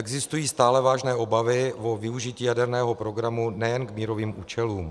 Existují stále vážné obavy o využití jaderného programu nejen k mírovým účelům.